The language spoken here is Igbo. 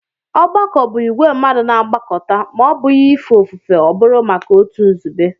Ọgbakọ bụ ìgwè mmadụ na-agbakọta; ma ọ́ bụghị ife ofufe ọ bụru maka otu nzube